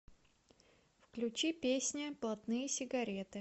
включи песня блатные сигареты